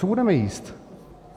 Co budeme jíst?